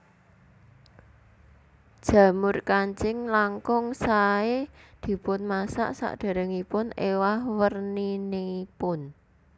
Jamur kancing langkung saé dipunmasak sadèrèngipun éwah werninipun